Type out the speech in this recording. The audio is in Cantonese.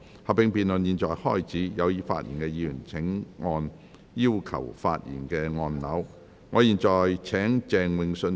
合併辯論現在開始，有意發言的議員請按"要求發言"按鈕。